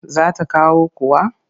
Za ta kawo kuwa?